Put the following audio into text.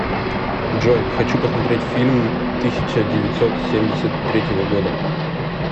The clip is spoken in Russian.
джой хочу посмотреть фильм тысяча девятьсот семьдесят третьего года